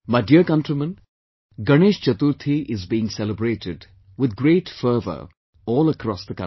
My dear countrymen, Ganesh Chaturthi is being celebrated with great fervor all across the country